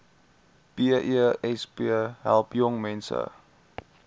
besp help jongmense